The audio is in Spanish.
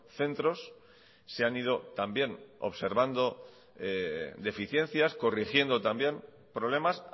centros se han ido también observando deficiencias corrigiendo también problemas